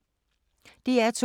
DR2